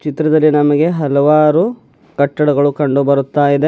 ಚಿತ್ರದಲ್ಲಿ ನಮಗೆ ಹಲವಾರು ಕಟ್ಟಡಗಳು ಕಂಡು ಬರುತ್ತಾ ಇದೆ.